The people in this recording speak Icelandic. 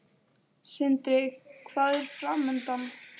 Sindri: Hvað er framundan?